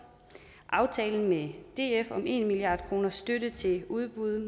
og aftalen med df om en milliard kroner i støtte til udbud